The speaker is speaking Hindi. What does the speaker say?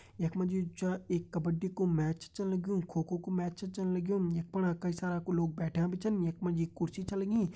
यख मा जू च एक कब्बडी कू मैच छ चलण लग्युं खो खो कू मैच छ चलण लग्युं यख फणा कई सारा लोग बैठ्यां भी छन यख मा जी कुर्सी छ लगीं।